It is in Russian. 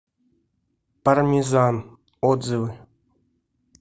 пармезан отзывы